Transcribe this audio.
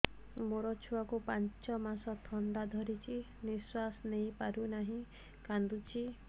ମୋ ଛୁଆକୁ ପାଞ୍ଚ ମାସ ଥଣ୍ଡା ଧରିଛି ନିଶ୍ୱାସ ନେଇ ପାରୁ ନାହିଁ କାଂଦୁଛି